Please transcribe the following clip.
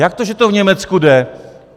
Jak to, že to v Německu jde?